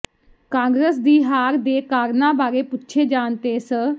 ਕਾਂਗਰਸ ਦੀ ਹਾਰ ਦੇ ਕਾਰਨਾਂ ਬਾਰੇ ਪੁੱਛੇ ਜਾਣ ਤੇ ਸ